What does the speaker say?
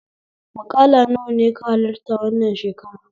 Maƙala nawa ne ka halarta wannan shekara?